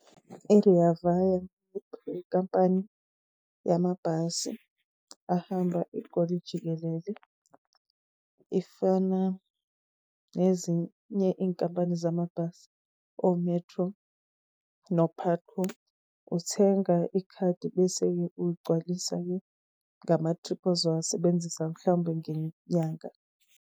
I-Rea Vaya inkampani yamabhasi, ahamba iGoli jikelele. Ifana nezinye iy'nkampani zamabhasi, o-Metro no-PUTCO. Uthenga ikhadi bese-ke ugcwalisa-ke ngama-trip ozowasebenzisa mhlawumbe ngenyanga.